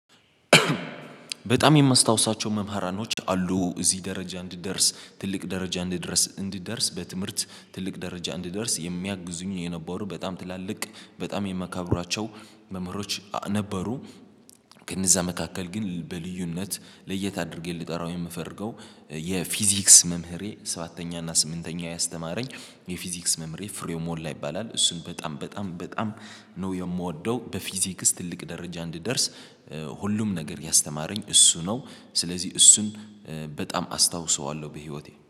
በጣም የማስታውሳቸው መምህራኖች አሉ። እዚህ ደረጃ እንድደርስ ትልቅ ደረጃ እንድደርስ እንድደርስ በትምህርት ትልቅ ደረጃ እንዲደርስ የሚያግዙኝ የነበሩ በጣም ትላልቅ በጣም የመካብራቸው መምህሮች ነበሩ። ከነዛ መካከል ግን በልዩነት ለየት አድርጌ ልጠራው የምፈልገው የፊዚክስ መምህሬ ሰባተኛ እና ስምንተኛ ያስተማረኝ የፊዚክስ መምህሬ ፍሬው ሞላ ይባላል። እሱን በጣም በጣም በጣም ነው የምወደው በፊዚክስ ትልቅ ደረጃ እንድደርስ ሁሉም ነገር ያስተማረኝ እሱ ነው። ስለዚህ እሱን በጣም አስታውሰዋለሁ በህይወቴ